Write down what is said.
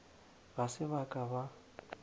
ga se ba ka ba